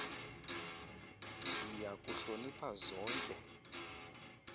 ndiya kuhlonipha zonke